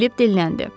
Filip dinləndi.